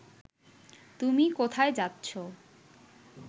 তুমি কোথায় যাচ্ছ